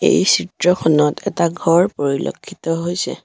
এই চিত্ৰখনত এটা ঘৰ পৰিলেক্ষিত হৈছে।